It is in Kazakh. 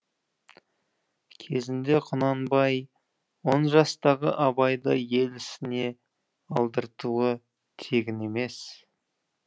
кезінде құнанбай он жастағы абайды ел ісіне алдыртуы тегін емес